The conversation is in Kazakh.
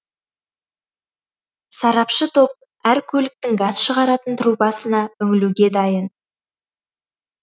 сарапшы топ әр көліктің газ шығаратын трубасына үңілуге дайын